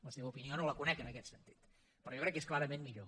la seva opinió no la conec en aquest sentit però jo crec que és clarament millor